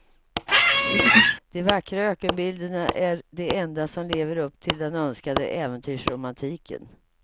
De vackra ökenbilderna är de enda som lever upp till den önskade äventyrsromantiken.